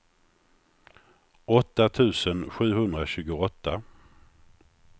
åtta tusen sjuhundratjugoåtta